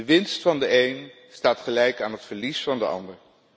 De winst van de een staat gelijk aan het verlies van de ander.